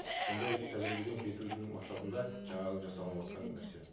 сондай тәжірибеден кетудің мақсатында жаңағы жасалыныватқан нәрсе